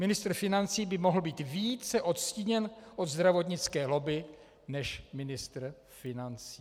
Ministr financí by mohl být více odstíněn od zdravotnické lobby než ministr financí .